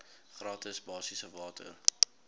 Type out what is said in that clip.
gratis basiese water